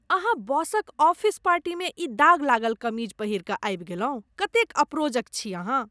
अहाँ बॉसक ऑफिस पार्टीमे ई दाग लागल कमीज पहिरि कऽ आबि गेलहुँ, कतेक अपरोजक छी अहाँ !